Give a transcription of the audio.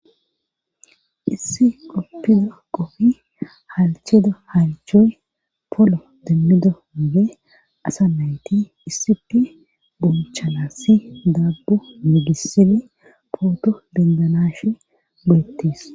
issi qoppida qoffi halcheda halchoy polo demmido mube asa mayti issipi bonchalassi dabbu migisini pooto bendanashe burettis